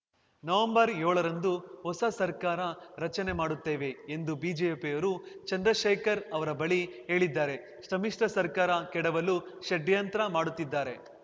ನವೆಂಬರ್ಯೋಳರಂದು ಹೊಸ ಸರ್ಕಾರ ರಚನೆ ಮಾಡುತ್ತೇವೆ ಎಂದು ಬಿಜೆಪಿಯವರು ಚಂದ್ರಶೇಖರ್‌ ಅವರ ಬಳಿ ಹೇಳಿದ್ದಾರೆ ಸಮ್ಮಿಶ್ರ ಸರ್ಕಾರ ಕೆಡವಲು ಷಡ್ಯಂತ್ರ ಮಾಡುತ್ತಿದ್ದಾರೆ